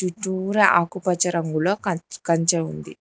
చుట్టూరా ఆకుపచ్చ రంగుల కంచ ఉంది.